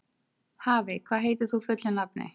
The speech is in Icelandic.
Hafey, hvað heitir þú fullu nafni?